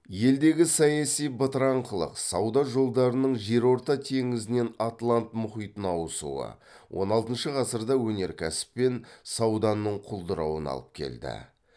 елдегі саяси бытыраңқылық сауда жолдарының жерорта теңізінен атлант мұхитына ауысуы он алтыншы ғасырда өнеркәсіп пен сауданың құлдырауына алып келді